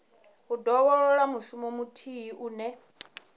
u dovholola mushumo muthihi une